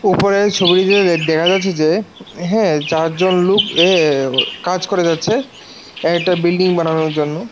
ওপরের ছবিটিতে দেখা যাচ্ছে যে হ্যাঁ চারজন লোক এ্যা কাজ করে যাচ্ছে একটা বিল্ডিং বানানোর জন্য।